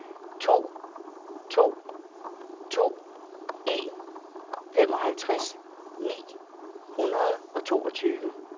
to to to en femoghalvtreds ni hundrede og toogtyve